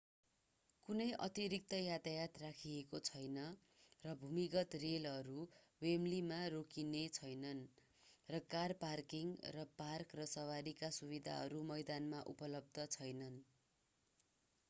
कुनै अतिरिक्त यातायात राखिएको छैन र भूमिगत रेलहरू वेमब्लीमा रोकिने छैनन् र कार पार्किङ र पार्क र सवारीका सुविधाहरू मैदानमा उपलब्ध छैनन्